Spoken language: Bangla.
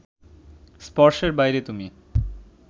স্পর্শের বাইরে তুমি